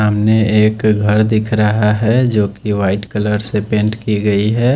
सामने एक घर दिख रही है जो की वाइट कलर से पैंट की गयी है।